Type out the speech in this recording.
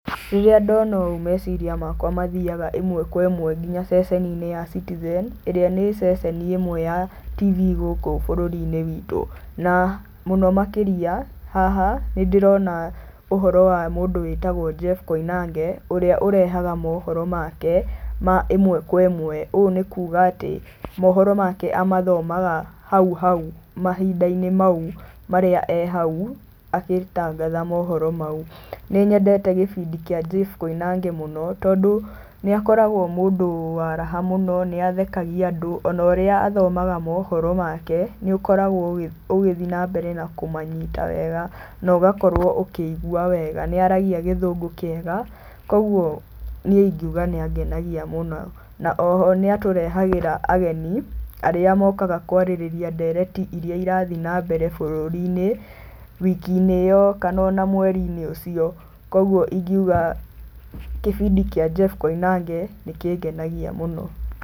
Rĩrĩa ndona ũũ meciria makwa mathiaga ĩmwe kwa ĩmwe nginya ceceni-inĩ ya Citizen ĩrĩa ni ceceni ĩmwe ya TV gũkũ bũrũri-inĩ witũ. Na mũno makĩria haha nĩndĩrona ũhoro wa mũndũ wĩtagwo Jeff Koinange ũrĩa ũrehaga mohoro make ma ĩmwe kwa ĩmwe. Ũũ nĩ kuuga atĩ mohoro make amathomaga hau hau mahinda-inĩ mau marĩa e hau agĩtangatha mohoro mau. Nĩ nyendete kĩbĩndi kĩa Jeff Koinange mũno tondũ nĩ akoragũo mũndũ wa raha mũno, nĩ athekagia andũ, ona ũrĩa athomaga mohoro make nĩ ũkoragũo ũgĩthiĩ na mbere na kũmanyita wega na ũgakorũo ũkĩigua wega. Nĩ aragia gĩthũngũ kĩega kwoguo niĩ ingiuga nĩ angenagia mũno. Na oho nĩ atũrehagĩra ageni arĩa mokaga kwarĩrĩria ndereti irĩa irathiĩ na mbere bũrũri-inĩ wiki-inĩ ĩyo kana ona mweri-inĩ ũcio. Kwoguo ingiuga kĩbindi kĩa Jeff Koinange nĩ kĩngenagia mũno.